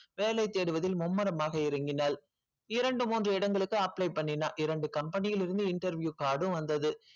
வேலை தேடுவதில் மும்முரமாக இறங்கினால் இரண்டு மூன்று இடங்களுக்கு apply பண்ணினாள் இரண்டு company இருந்து interview card வந்தது